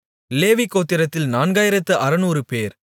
லேவி கோத்திரத்தில் நான்காயிரத்து அறுநூறுபேர்